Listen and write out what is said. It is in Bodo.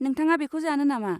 नोंथाङा बेखौ जानो नामा?